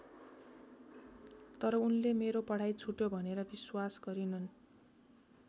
तर उनले मेरो पढाइ छुट्यो भनेर विश्वास गरिनन्।